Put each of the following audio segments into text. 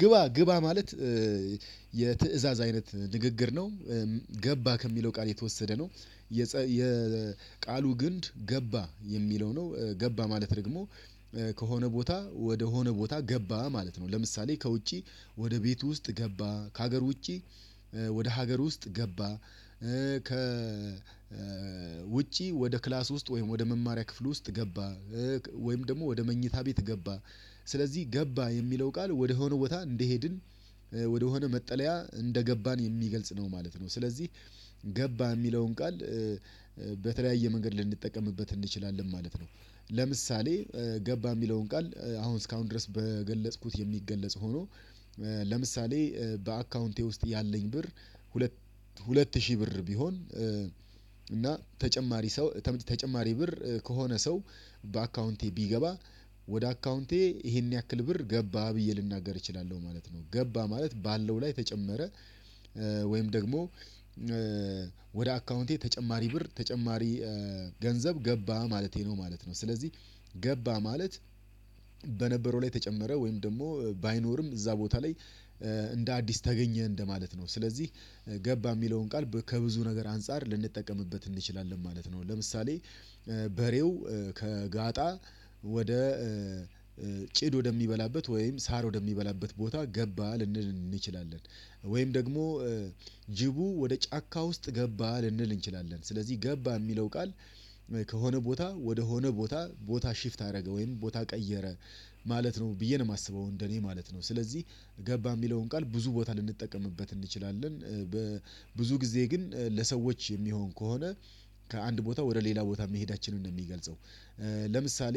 ግባ ግባ ማለት የትእዛዝ አይነት ንግግር ነው። ገባ ከሚለው ቃል የተወሰደ ነው። የቃሉ ግንድ ገባ የሚለው ነው ገባ ማለት ደግሞ ከሆነ ቦታ ወደ ሆነ ቦታ ገባ ማለት ነው። ለምሳሌ ከውጪ ወደ ቤቱ ውስጥ ገባ ከሀገር ውጪ ወደ ሀገር ውስጥ ገባ። ከ ውጪ ወደ ክላስ ውስጥ ወይም ወደ መማሪያ ክፍል ውስጥ ገባ። ወይም ደግሞ ወደ መኝታ ቤት ገባ ስለዚህ ገባ የሚለው ቃል ወደ ሆነ ቦታ እንደሄድን ወደሆነ መጠለያ እንደገባን የሚገልጽ ነው ማለት ነው። ስለዚህ ገባ የሚለውን ቃል በተለያየ መንገድ ልንጠቀምበት እንችላለን ማለት ነው። ለምሳሌ ገባ የሚለውን ቃል አሁን እስካሁን ድረስ በገለጽኩት የሚገለጽ ሆኖ። ለምሳሌ በአካውንቴ ውስጥ ያለኝ ብር ሁለት ሁለት ሺህ ብር ቢሆን እና ተጨማሪ ሰው ተመ ተጨማሪ ብር ከሆነ ሰው በአካውንቴ ቢገባ ወደ አካውንቴ ይሄን ያክል ብር ገባ ብዬ ልናገር እችላለሁ ማለት ነው። ገባ ማለት ባለው ላይ ተጨመረ። ወይም ደግሞ ወደ አካውንቴ ተጨማሪ ብር ተጨማሪ ገንዘብ ገባ ማለቴ ነው ማለት ነው። ስለዚህ ገባ ማለት በነበረው ላይ ተጨመረ ወይም ደግሞ ባይኖርም እዛ ቦታ ላይ እንደ አዲስ ተገኘ እንደማለት ነው። ስለዚህ ገባ የሚለውን ቃል ከብዙ ነገር አንፃር ልንጠቀምበት እንችላለን ማለት ነው። ለምሳሌ በሬው ከጋጣ ወደ ጭድ ወደሚበላበት ወይም ሳር ወደሚበላበት ቦታ ገባ ልንል እንችላለን። ወይም ደግሞ ጅቡ ወደ ጫካ ውስጥ ገባ ልንል እንችላለን። ስለዚህ ገባ የሚለው ቃል ከሆነ ቦታ ወደሆነ ቦታ ቦታ ሽፍት አደረገ ወይም ቦታ ቀየረ ማለት ነው ብዬ ነው የማስበው እንደኔ ማለት ነው። ስለዚህ ገባ የሚለውን ቃል ብዙ ቦታ ልንጠቀምበት እንችላለን በብዙ ጊዜ ግን ለሰዎች የሚሆን ከሆነ ከአንድ ቦታ ወደ ሌላ ቦታ መሄዳችንን ነው ሚገልጸው። ለምሳሌ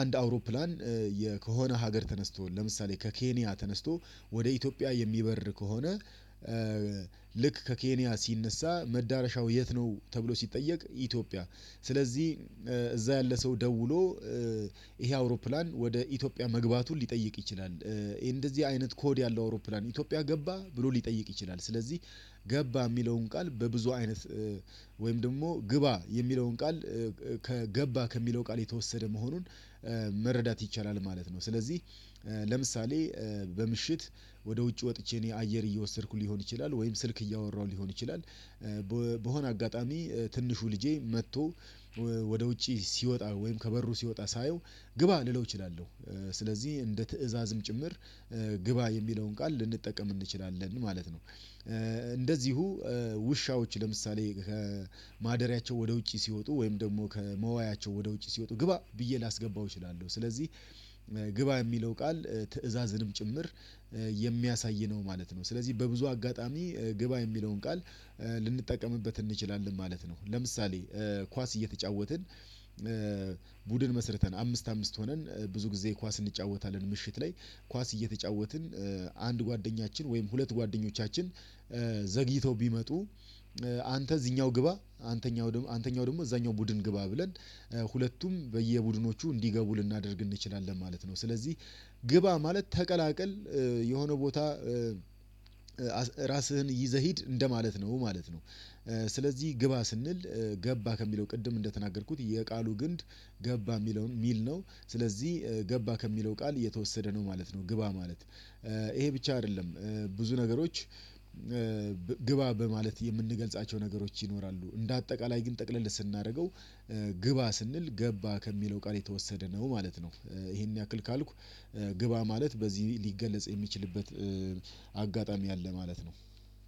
አንድ አውሮፕላን ከሆነ ሀገር ተነስቶ ለምሳሌ ከኬንያ ተነስቶ ወደ ኢትዮጵያ የሚበር ከሆነ። ልክ ከኬንያ ሲነሳ መዳረሻው የት ነው? ተብሎ ሲጠየቅ ኢትዮጵያ ስለዚህ እዛ ያለ ሰው ደውሎ ይሄ አውሮፕላን ወደ ኢትዮጵያ መግባቱን ሊጠይቅ ይችላል እንደዚህ አይነት ኮድ ያለው አውሮፕላን ኢትዮጵያ ገባ ብሎ ሊጠይቅ ይችላል። ስለዚህ ገባ የሚለውን ቃል በብዙ አይነት ወይም ደግሞ ግባ የሚለውን ቃል ከገባ ከሚለው ቃል የተወሰደ መሆኑን መረዳት ይቻላል ማለት ነው። ስለዚህ ለምሳሌ በምሽት ወደ ውጭ ወጥቼ እኔ አየር እየወሰድኩ ሊሆን ይችላል ወይም ስልክ እያወራሁ ሊሆን ይችላል። በሆነ አጋጣሚ ትንሹ ልጄ መጥቶ ወደ ውጪ ሲወጣ ወይም ከበሩ ሲወጣ ሳየው ግባ ልለው እችላለሁ። ስለዚህ እንደ ትእዛዝም ጭምር ግባ የሚለውን ቃል ልንጠቀም እንችላለን ማለት ነው። እንደዚሁ ውሻዋች ለምሳሌ ከማደሪያቸው ወደ ውጪ ሲወጡ ወይም ደግሞ ከመዋያቸው ወደ ውጪ ሲወጡ ግባ ብዬ ላስገባው እችላለሁ። ስለዚህ ግባ የሚለው ቃል ትእዛዝንም ጭምር የሚያሳይ ነው ማለት ነው። ስለዚህ በብዙ አጋጣሚ ግባ የሚለውን ቃል ልንጠቀምበት እንችላለን ማለት ነው። ለምሳሌ ኳስ እየተጫወትን ቡድን መስርተን አምስት አምስት ሆነን ብዙ ጊዜ ኳስ እንጫወታለን። ምሽት ላይ ኳስ እየተጫወትን አንድ ጓደኛችን ወይም ሁለት ጓደኞቻችን ዘግይተው ቢመጡ አንተ እዚህኛው ግባ አንተኛው አንተኛው ደግሞ እዛኛው ቡድን ግባ ብለን ሁለቱም በየቡድኖቹ እንዲገቡ ልናደርግ እንችላለን ማለት ነው። ስለዚህ ግባ ማለት ተቀላቀል የሆነ ቦታ ራስህን ይዘህ ሂድ እንደማለት ነው ማለት ነው። ስለዚህ ግባ ስንል ገባ ከሚለው ቅድም እንደተናገርኩት የቃሉ ግንድ ገባ የሚለውን የሚል ነው። ስለዚህ ገባ ከሚለው ቃል የተወሰደ ነው ማለት ነው። ግባ ማለት ይሄ ብቻ አይደለም ብዙ ነገሮች። ግባ በማለት የምንገልጻቸው ነገሮች ይኖራሉ እንደ አጠቃላይ ግን ጠቅለል ስናደርገው ግባ ስንል ገባ ከሚለው ቃል የተወሰደ ነው ማለት ነው። ይሄን ያክል ካልኩ ግባ ማለት በዚህ ሊገለጽ የሚችልበት አጋጣሚ አለ ማለት ነው።